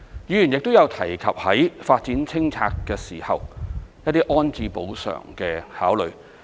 議員亦有提及在進行發展清拆時，一些安置補償的考慮。